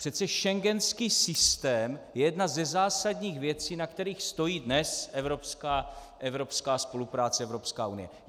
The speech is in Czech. Přece schengenský systém je jedna ze zásadních věcí, na kterých stojí dnes evropská spolupráce, Evropská unie.